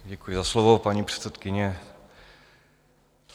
Děkuji za slovo, paní předsedkyně.